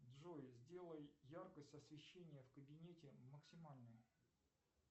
джой сделай яркость освещения в кабинете максимальной